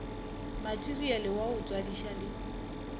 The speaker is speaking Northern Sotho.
materiale wa go tswadiša di